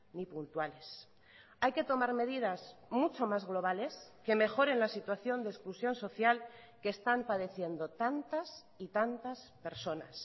ni puntuales hay que tomar medidas mucho más globales que mejoren la situación de exclusión social que están padeciendo tantas y tantas personas